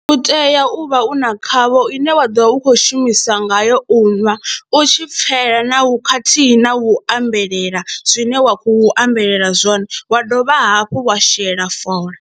U tea u vha u na khavho ine wa ḓo vha u khou shumisa ngayo u ṅwa u tshi pfhela na u khathihi na u ambelela zwine wa khou ambelela zwone, wa dovha hafhu wa shela fola.